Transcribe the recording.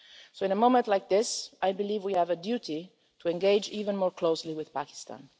So in a moment like this, I believe we have a duty to engage even more closely with Pakistan.